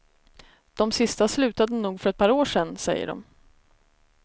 De sista slutade nog för ett par år sedan, säger de.